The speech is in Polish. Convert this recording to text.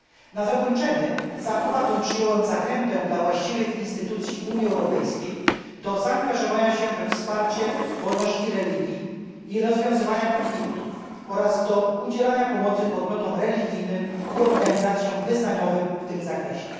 Na zakończenie z aprobatą przyjąłem zachętę dla właściwych instytucji Unii Europejskiej do zaangażowania się we wsparcie wolności religii i rozwiązywania konfliktów oraz do udzielania pomocy podmiotom religijnym i organizacjom wyznaniowym w tym zakresie.